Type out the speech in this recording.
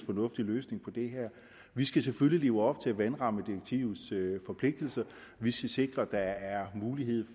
fornuftig løsning på det her vi skal selvfølgelig leve op til vandrammedirektivets forpligtelser vi skal sikre at der er mulighed